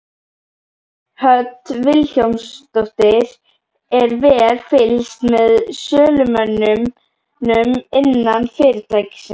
Hödd Vilhjálmsdóttir: Er vel fylgst með sölumönnunum innan fyrirtækisins?